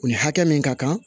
O hakɛ min ka kan